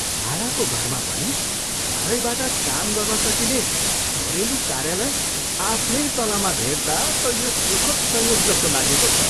भाडाको घरमा पनि घरैबाट काम गर्न सकिने घरेलु कार्यालय आफ्नै तलामा भेट्दा त यो सुखद् संयोग जस्तो लागेको छ।